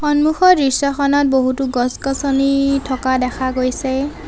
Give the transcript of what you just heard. সন্মুখৰ দৃশ্যখনত বহুতো গছ-গছনি থকা দেখা গৈছে।